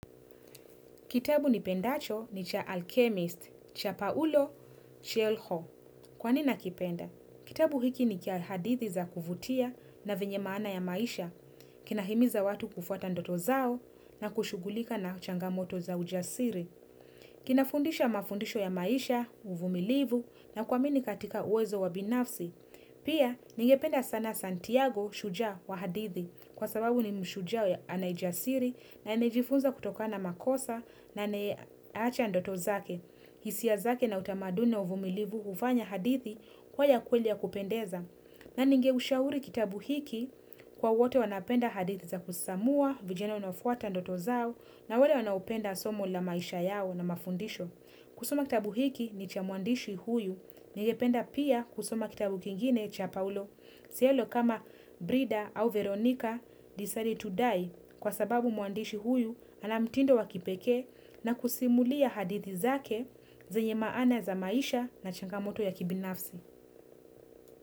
Kitabu nipendacho ni cha Alchemist, cha Paulo Cuelho. Kwa nini nakipenda? Kitabu hiki ni kia hadithi za kuvutia na vyenye maana ya maisha, kinahimiza watu kufuata ndoto zao na kushughulika na changamoto za ujasiri. Kinafundisha mafundisho ya maisha, uvumilivu, na kuamini katika uwezo wa binafsi. Pia, ningependa sana Santiago, shuja wa hadithi. Kwa sababu ni mshuja wa ana ujasiri na amejifunza kutoka na makosa na anayeacha ndoto zake. Hisia zake na utamaduni wa uvumilivu hufanya hadithi kuwa ya kweli ya kupendeza. Na ninge ushauri kitabu hiki kwa wote wanapenda hadithi za kusisimua, vijana wanaofuata ndoto zao, na wale wanaopenda somo la maisha yao na mafundisho. Kusoma kitabu hiki ni cha mwandishi huyu. Ningependa pia kusoma kitabu kingine cha paulo. Cuelho kama Brida au Veronica decided to die. Kwa sababu mwandishi huyu ana mtindo wa kipekee na kusimulia hadithi zake zenye maana za maisha na changamoto ya kibinafsi.